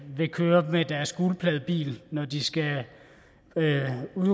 vil køre med deres gulpladebil når de skal